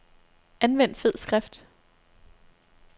Anvend fed skrift.